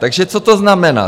Takže co to znamená?